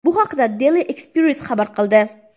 Bu haqda Daily Express xabar qildi .